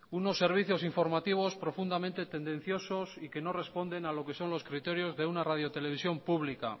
unos servicios informativos profundamente tendenciosos y que no responden a lo que son los criterios de una radiotelevisión pública